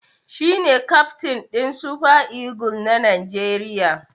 Shi ne kyaftin ɗin Super Eagles na Najeriya